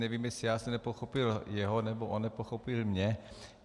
Nevím, jestli já jsem nepochopil jeho, nebo on nepochopil mě.